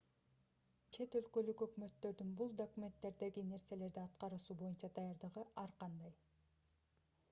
чет өлкөлүк өкмөттөрдүн бул документтердеги нерселерди аткаруусу боюнча даярдыгы ар кандай